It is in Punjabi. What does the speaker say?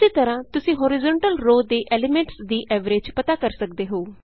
ਉਸੀ ਤਰਹਾਂ ਤੁਸੀਂ ਹੋਰੀਜ਼ੋਂਟਲ ਰੋਅ ਦੇ ਐਲੀਮੈਂਟਸ ਦੀ ਐਵਰੇਜ ਪਤਾ ਕਰ ਸਕਦੇ ਹੋ